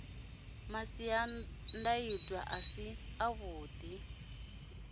masiandaitwa a si avhuḓi a